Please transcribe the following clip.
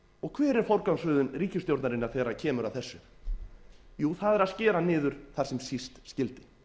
hver er forgangsröðun ríkisstjórnarinnar þegar kemur að þessu jú það er að skera niður þar sem síst skyldi